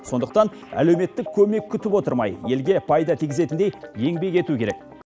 сондықтан әлеуметтік көмек күтіп отырмай елге пайда тигізетіндей еңбек ету керек